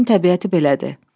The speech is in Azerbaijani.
Dənizin təbiəti belədir.